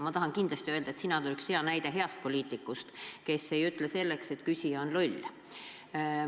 Ma tahan kindlasti öelda, et sina oled hea näide heast poliitikust, kes ei ütle, et küsija on loll.